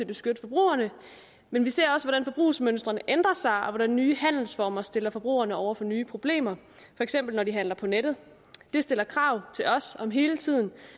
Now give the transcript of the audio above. beskytte forbrugerne men vi ser også hvordan forbrugsmønstrene ændrer sig og hvordan nye handelsformer stiller forbrugerne over for nye problemer for eksempel når de handler på nettet det stiller krav til os om hele tiden